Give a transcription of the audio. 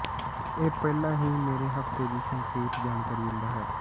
ਇਹ ਪਹਿਲਾਂ ਹੀ ਮੇਰੇ ਹਫ਼ਤੇ ਦੀ ਸੰਖੇਪ ਜਾਣਕਾਰੀ ਦਿੰਦਾ ਹੈ